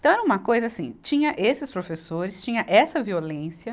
Então era uma coisa assim, tinha esses professores, tinha essa violência,